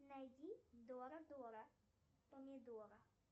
найди дора дора помидора